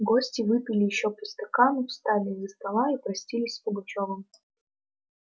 гости выпили ещё по стакану встали из-за стола и простились с пугачёвым